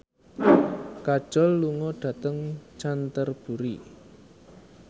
Kajol lunga dhateng Canterbury